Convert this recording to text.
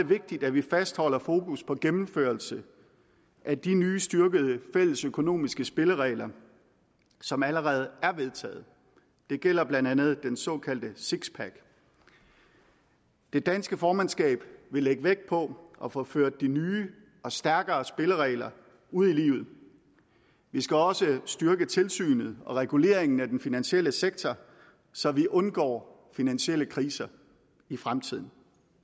vigtigt at vi fastholder fokus på gennemførelse af de nye styrkede fælles økonomiske spilleregler som allerede er vedtaget det gælder blandt andet den såkaldte sixpack det danske formandskab vil lægge vægt på at få ført de nye og stærkere spilleregler ud i livet vi skal også styrke tilsynet med og reguleringen af den finansielle sektor så vi undgår finansielle kriser i fremtiden